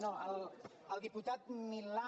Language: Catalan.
no al diputat milà